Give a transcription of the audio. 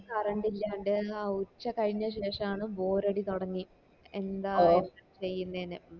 current ഇല്ലാണ്ട് ആ ഉച്ച കൈഞ്ഞേ ശേഷാണ് bor അടി തൊടങ്ങി എന്താ ചെയ്യുന്നെന്ന്